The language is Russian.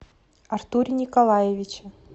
артуре николаевиче